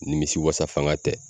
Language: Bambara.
Nimisi wasa fanga tɛ